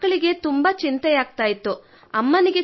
ಹಿಂದೆ ಮಕ್ಕಳಿಗೆ ಅತೀವ ಚಿಂತೆಯಾಗಿತ್ತು